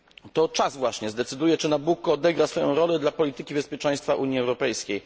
To czas właśnie zdecyduje, czy Nabucco odegra swoją rolę dla polityki bezpieczeństwa Unii Europejskiej.